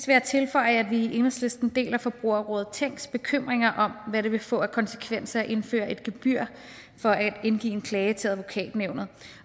jeg tilføje at vi i enhedslisten deler forbrugerrådet tænks bekymringer om hvad det vil få af konsekvenser at indføre et gebyr for at indgive en klage til advokatnævnet